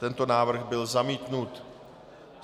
Tento návrh byl zamítnut.